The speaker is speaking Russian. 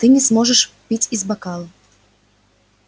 ты не сможешь пить из бокала